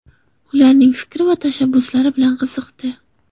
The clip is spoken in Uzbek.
Ularning fikrlari va tashabbuslari bilan qiziqdi.